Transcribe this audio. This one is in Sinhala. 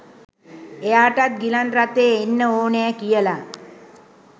එයාටත් ගිලන් රථයෙ එන්න ඕනෙ කියලා.